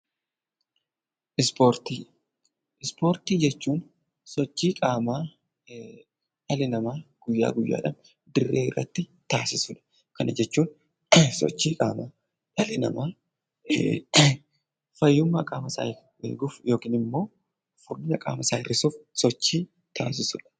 Ispoortii jechuun sochii qaamaa dhalli namaa guyyaa guyyaatti dirree irratti taasisu yookiin immoo fayyummaa qaamasaa eeguuf , furdina hir'isuuf sochii taasisudha